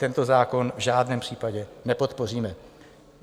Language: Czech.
Tento zákon v žádném případě nepodpoříme.